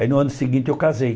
Aí no ano seguinte eu casei.